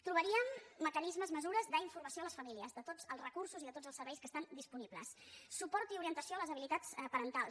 trobaríem mecanismes mesures d’informació a les famílies de tots els recursos i de tots els serveis que estan disponibles suport i orientació a les habilitats parentals